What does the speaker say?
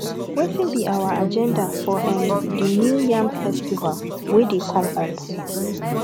wetin be our agenda for um the new yam festival wey dey come up